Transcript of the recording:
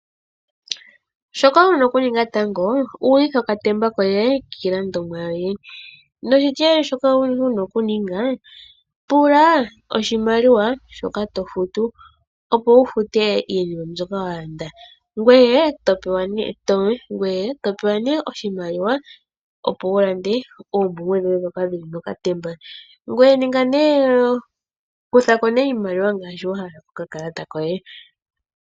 Shoka wu na okuninga tango, udhitha okatemba koye kiilandomwa yoye. Noshitiyali shoka wu na okuninga, pula oshimaliwa shoka to futu, opo wu fute iinima mbyoka wa landa, ngoye to pewa nduno oshimaliwa, opo wu lande oompumbwe dhoye ndhoka dhi li mokatemba. Kutha ko nduno iimaliwa ngaashi wa hala kokakalata koye.